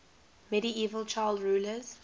medieval child rulers